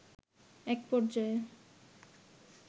একপর্যায়ে